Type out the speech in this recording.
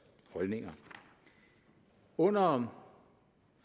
holdninger under